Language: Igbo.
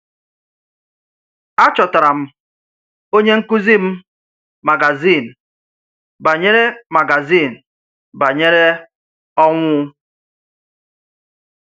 Àchọ̀tárà m, onye nkụ́zi m magazín bànyèrè magazín bànyèrè ọnwụ!.